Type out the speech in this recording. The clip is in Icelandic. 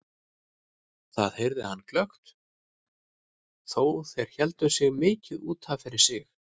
Það heyrði hann glöggt þó þeir héldu sig mikið út af fyrir sig.